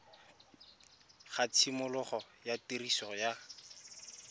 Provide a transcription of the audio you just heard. ga tshimologo ya tiriso ya